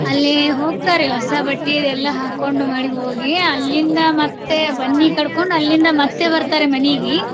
ಅಲ್ಲೇ ಹೋಗ್ತಾರ್ರಿ ಹೊಸ ಬಟ್ಟಿ ಎಲ್ಲಾ ಹಾಕೊಂಡು ಮಾಡಿ ಹೋಗಿ ಅಲ್ಲಿಂದ ಮತ್ತೆ ಬನ್ನಿ ಕಡ್ಕೊಂಡ್ ಅಲ್ಲಿಂದ ಮತ್ತೆ ಬರ್ತಾರೆ ಮನಿಗಿ.